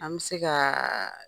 An bi se ka